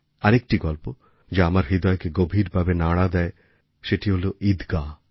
আরেকটি গল্প যা আমার হৃদয়কে গভীরভাবে নাড়া দেয় সেটি হল ঈদগাহ্